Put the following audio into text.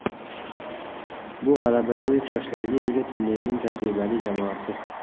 Bu – g‘alabaga o‘ch yoshlarga ega turnirning tajribali jamoasi.